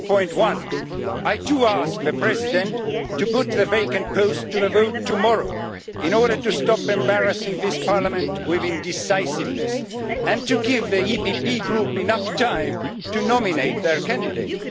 15. I ask the President to put the vacant post to the vote tomorrow, in order to stop embarrassing this Parliament with indecisiveness, and to give the EPP Group enough time to nominate their candidate.